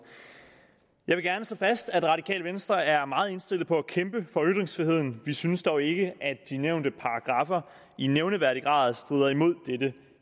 jeg vil gerne slå fast at det radikale venstre er meget indstillet på at kæmpe for ytringsfriheden vi synes dog ikke at de nævnte paragraffer i nævneværdig grad strider imod dette